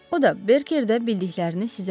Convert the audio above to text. O da Berkerdə bildiklərini sizə dedilər.